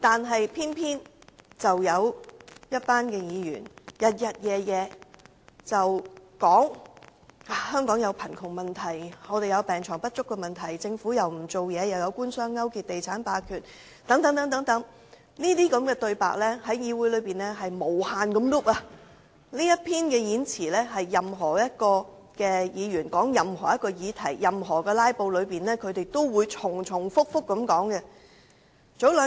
可是，有些議員不斷重複說香港面對貧富懸殊、病床不足、政府不做事、官商勾結及地產霸權等問題，這類言論在議會內不斷重複，而在"拉布"期間，任何議員在討論任何議題時都會重複提述上述內容。